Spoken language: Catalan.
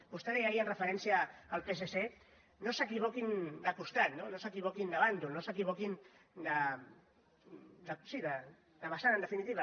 vostè deia ahir amb referència al psc no s’equivoquin de costat no no s’equivoquin de bàndol no s’equivoquin de vessant en definitiva